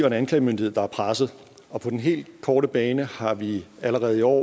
en anklagemyndighed der er presset på den helt korte bane har vi allerede i år